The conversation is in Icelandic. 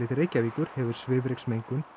Reykjavíkur hefur svifryksmengun